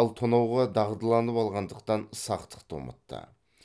ал тонауға дағдыланып алғандықтан сақтықты ұмытты